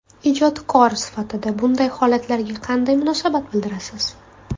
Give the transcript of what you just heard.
Ijodkor sifatida bunday holatlarga qanday munosabat bildirasiz?